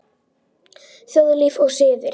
Þjóðlíf og siðir